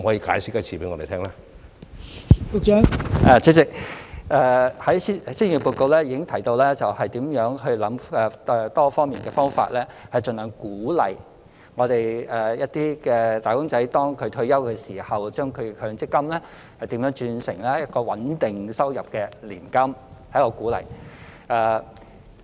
代理主席，施政報告已提到如何構思多方面的方法，盡量鼓勵"打工仔"在退休時將其強積金轉成可提供穩定收入的年金，這是一種鼓勵。